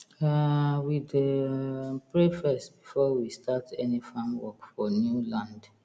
um we dey um pray first before we start any farm work for new land